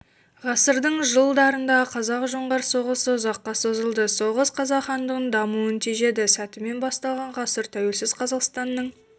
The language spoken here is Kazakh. ғасырдың жыл-дарындағы қазақ-жоңғар соғысы ұзаққа созылды соғыс қазақ хандығының дамуын тежеді сәтімен басталған ғасыр тәуелсіз қазақстанның